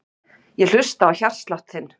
Ég hlusta á hjartslátt þinn.